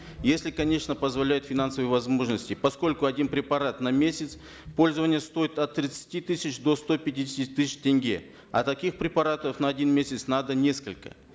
если конечно позволяют финансовые возможности поскольку один препарат на месяц пользования стоит от тридцати тысяч до ста пятидесяти тысяч тенге а таких препаратов на один месяц надо несколько